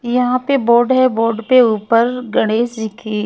यहाँ पे बोर्ड है बोर्ड के ऊपर गणेश जी की --